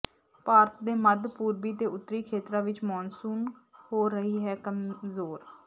ਭਾਰਤ ਦੇ ਮੱਧ ਪੂਰਬੀ ਤੇ ਉੱਤਰੀ ਖੇਤਰਾਂ ਵਿੱਚ ਮੌਨਸੂਨ ਹੋ ਰਹੀ ਹੈ ਕਮਜ਼ੋਰ